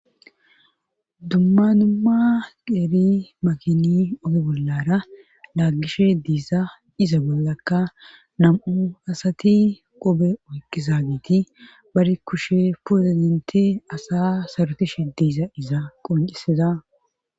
Dumma dumma qeeri makini oge bollara laaggishe diisa iza bollakka nam7u asati obe oyqqizagiti bari kushe pozidenti asa sarutishe diiza iza qoncesiza.